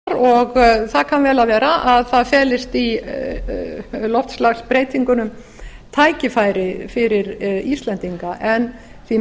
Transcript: já ég þakka ráðherranum þetta andsvar það kann vel að vera að það felist í loftslagsbreytingunum tækifæri fyrir íslendinga því